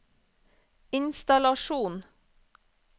innstallasjon